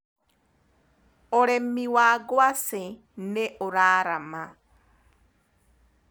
ũrĩmi wa ngwaci nĩũraarama.